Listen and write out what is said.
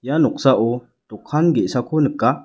ia noksao dokan ge·sako nika.